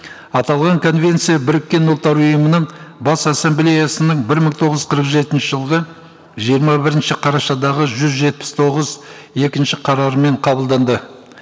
аталған конвенция біріккен ұлттар ұйымының бас ассамблеясының бір мың тоғыз қырық жетінші жылғы жиырма бірінші қарашадағы жүз жетпіс тоғыз екінші қарармен қабылданды